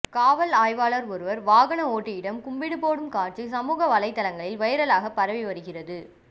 காவல் ஆய்வாளர் ஒருவர் வாகன ஓட்டியிடம் கும்பிடு போடும் காட்சி சமூக வலைதளங்களில் வைரலாக பரவி வருகிறது